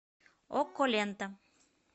окко лента